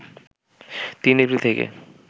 ৩ April থেকে